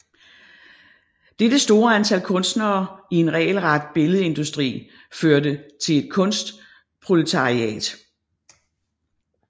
Dette store antal kunstnere i en regelret billedindustri førte til et kunstproletariat